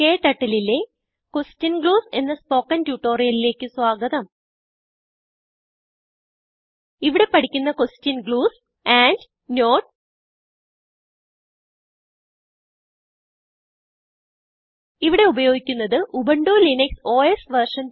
KTurtleലെ question glues എന്ന spoken ട്യൂട്ടോറിയലിലേക്ക് സ്വാഗതം ഇവിടെ പഠിക്കുന്ന ക്വെഷൻ ഗ്ലൂസ് andനോട്ട് ഇവിടെ ഉപയോഗിക്കുന്നത് ഉബുന്റു ലിനക്സ് ഓസ് വെർഷൻ